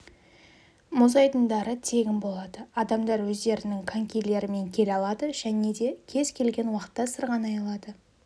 мұз айдындары тегін болады адамдар өздерінің конькилерімен келе алады және де кез келген уақытта сырғанай алады